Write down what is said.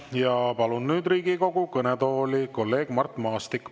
Ja palun nüüd Riigikogu kõnetooli kolleeg Mart Maastiku.